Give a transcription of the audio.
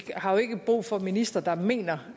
har ikke brug for ministre der mener